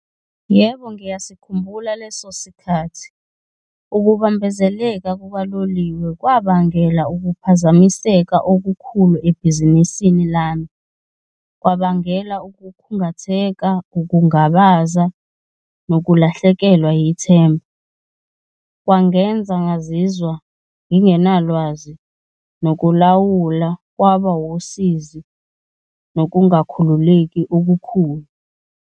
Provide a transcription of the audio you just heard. Yebo, ngiyasikhumbula leso sikhathi. Ukubambezeleka kukaloliwe kwabangela ukuphazamiseka okukhulu ebhizinisini lami kwabangela ukukhungatheka, ukungabaza nokulahlekelwa yithemba. Kwangenza ngazizwa ngingenalwazi nokulawula kwaba wusizi, nokungakhululeki okukhulu.